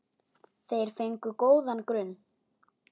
Þeir fengu góðan grunn.